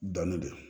Dɔnni de don